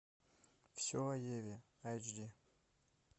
все о еве эйч ди